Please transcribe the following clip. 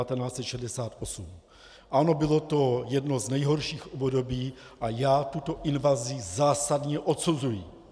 Ano, bylo to jedno z nejhorších období a já tuto invazi zásadně odsuzuji!